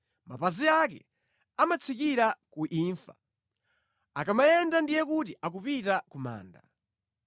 Mapazi ake amatsikira ku imfa; akamayenda ndiye kuti akupita ku manda.